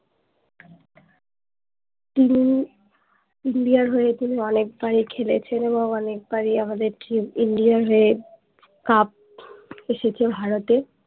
তিনি ইন্ডিয়ার হয়ে কিন্তু অনেক বারই খেলেছেন এবং অনেক বারই আমাদের team ইন্ডিয়ার হয়ে কাপ এসেছে ভারততে